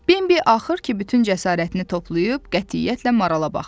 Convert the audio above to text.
Bembi axır ki, bütün cəsarətini toplayıb qətiyyətlə marala baxdı.